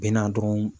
Bɛ na dɔrɔn